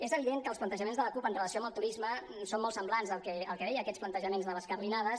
és evident que els plantejaments de la cup en relació amb el turisme són molt semblants al que deia a aquests plantejaments de les carlinades